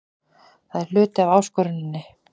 Það er hluti af áskoruninni.